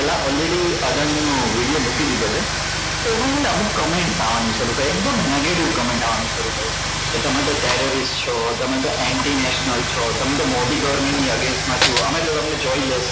Already Adani નો video મોકલી દીધો છે તો અમુક comment આવાની શરૂ થઈ એકદમ negative comment આવવાની શરૂઆત થઈ કે તમે તો career છો તમે તો antinational છો તમે તો મોભી government ની against માં છો અમે તો તમને જોઈએ